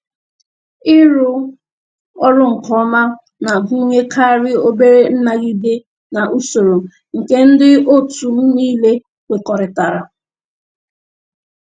Ịrụ ọrụ nke ọma na-agụnyekarị obere nnagide n' usoro nke ndị otu m niile kwekọrịtara.